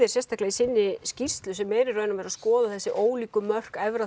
sérstaklega í sinni skýrslu sem er í raun og veru að skoða þessi ólíku mörk efra